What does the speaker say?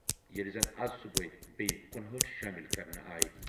ییٚلہِ زن آز صُبحٲے بیٚیہِ کنُہأٹھ شٲمِل کرنہٕ آیہِ۔